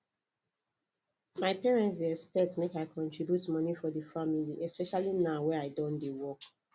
my parent dey expect make i contribute money for the family especially now wey i Accepted dey work